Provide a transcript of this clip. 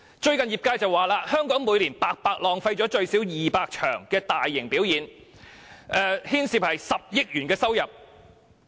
最近業界指出，香港每年白白浪費了舉行最少200場大型表演的機會，當中牽涉10億元收入。